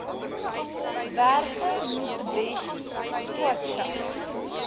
werke mcebisi skwatsha